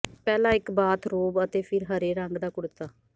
ਪਹਿਲਾਂ ਇਕ ਬਾਥਰੋਬ ਅਤੇ ਫਿਰ ਹਰੇ ਰੰਗ ਦਾ ਕੁੜਤਾ